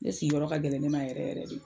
Ne sigiyɔrɔ ka gɛlɛn ne ma yɛrɛ yɛrɛ de